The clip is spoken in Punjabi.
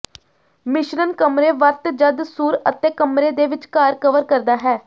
ਮਿਸ਼ਰਣ ਕਮਰੇ ਵਰਤ ਜਦ ਸੂਰ ਅਤੇ ਕਮਰੇ ਦੇ ਵਿਚਕਾਰ ਕਵਰ ਕਰਦਾ ਹੈ